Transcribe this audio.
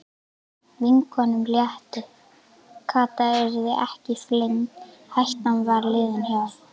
Vinkonunum létti, Kata yrði ekki flengd, hættan var liðin hjá.